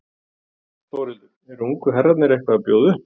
Þórhildur: Eru ungu herrarnir eitthvað að bjóða upp?